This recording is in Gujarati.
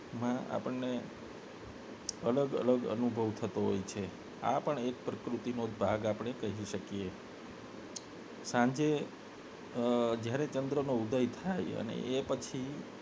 માં આપને અલગ અનુભવ થતો હોય છે આપને પ્રકૃતિનો એક ભાગ આપને કહી શકીએ સાંજે અ જ્યારે ચંદ્ર નો ઉદય થાય એ પછી